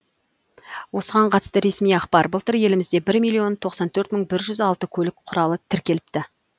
осыған қатысты ресми ақпар былтыр елімізде бір миллион тоқсан төрт мың жүз алты көлік құралы тіркеліпті